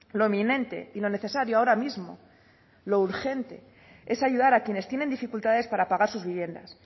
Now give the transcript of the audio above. lo eminente y lo necesario ahora mismo lo urgente es ayudar a quienes tienen dificultades para pagar sus viviendas